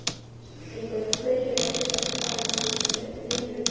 Snillingur Hver er uppáhaldsstaðurinn þinn í öllum heiminum?